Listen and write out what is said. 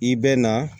I bɛ na